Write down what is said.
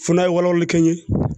Fo n'a ye walawali kɛ yen